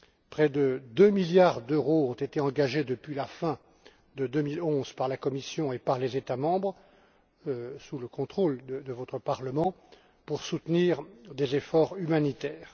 Près de deux milliards d'euros ont été engagés depuis la fin de 2011 par la Commission et par les États membres, sous le contrôle de votre Parlement, pour soutenir des efforts humanitaires.